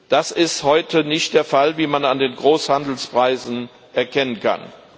Das ist heute nicht der Fall, wie man an den Großhandelspreisen erkennen kann.